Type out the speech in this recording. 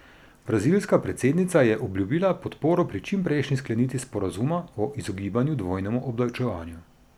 Brazilska predsednica je obljubila podporo pri čimprejšnji sklenitvi sporazuma o izogibanju dvojnemu obdavčevanju.